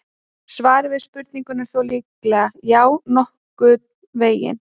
Svarið við spurningunni er þó líklega: Já, nokkurn veginn.